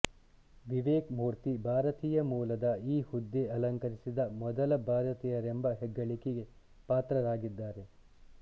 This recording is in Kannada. ವಿವೇಕ್ ಮೂರ್ತಿ ಭಾರತೀಯ ಮೂಲದ ಈ ಹುದ್ದೆ ಅಲಂಕರಿಸಿದ ಮೊದಲ ಭಾರತೀಯರೆಂಬ ಹೆಗ್ಗಳಿಕೆಗೆ ಪಾತ್ರರಾಗಿದ್ದಾರೆ